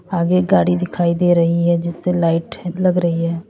आगे गाड़ी दिखाई दे रही है जिससे लाइट लग रही है।